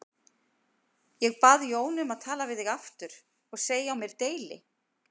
Ég bað Jónu um að tala við þig aftur og segja á mér deili.